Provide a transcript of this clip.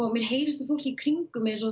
mér heyrist á fólki í kringum mig